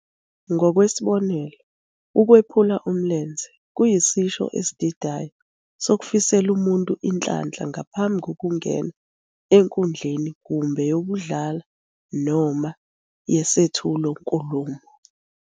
Ngokwesibonelo, "ukwephula umlenze" kuyisisho esididayo sokufisela umuntu inhlanhla ngaphambi kokungena enkundleni kumbe yokudlala noma yesethulo senkulumo.